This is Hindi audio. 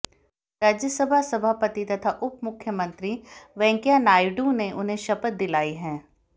राज्यसभा सभापति तथा उप मुख्यमंत्री वेंकैया नायडू ने उन्हें शपथ दिलाई है